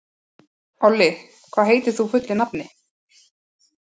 Olli, hvað heitir þú fullu nafni?